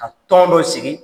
Ka tɔn dɔ sigi.